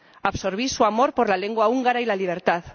Absorbí su amor por la lengua húngara y la libertad.